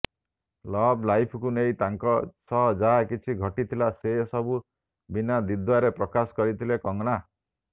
love ଲାଇଫକୁ ନେଇ ତାଙ୍କ ସହ ଯାହାକିଛି ଘଟିଥିଲା ସେ ସବୁ ବିନା ଦ୍ୱିଧାରେ ପ୍ରକାଶ କରିଥିଲେ କଙ୍ଗନା